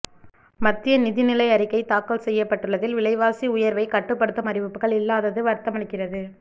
மத்திய நிதி நிலை அறிக்கை தாக்கல் செய்யப்பட்டுள்ளதில் விலைவாசி உயா்வைக்கட்டுப்படுத்தும் அறிவிப்புகள் இல்லாதது வருத்தமளிக்கிறது